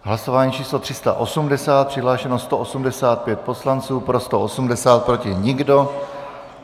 Hlasování číslo 380, přihlášeno 185 poslanců, pro 180, proti nikdo.